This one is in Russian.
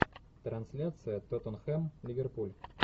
трансляция тоттенхэм ливерпуль